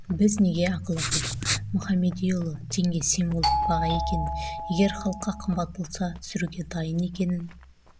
біз неге ақылы қылдық мұхамедиұлы теңге символдық баға екенін егер халыққа қымбат болса түсіруге дайын екенін